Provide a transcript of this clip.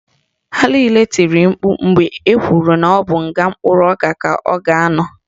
Ha niile tiri mkpu mgbe ekwuru na ọ bụ nga mkpụrụ ọka ka ọ ga-anọ